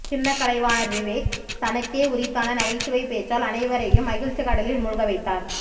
சின்னக்கலைவாணர் விவேக் தனக்கே உரித்தான நகைச்சுவை பேச்சால் அனைவரையும் மகிழ்ச்சிக் கடலில் மூழ்க வைத்தார்